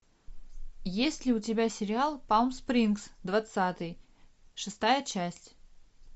есть ли у тебя сериал палм спрингс двадцатый шестая часть